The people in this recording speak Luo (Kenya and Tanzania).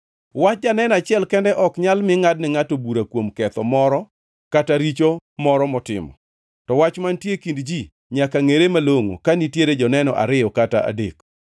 Wach janeno achiel kende ok nyal mi ngʼadne ngʼato bura kuom ketho moro kata richo moro motimo. To wach mantie e kind ji nyaka ngʼere malongʼo ka nitiere joneno ariyo kata adek.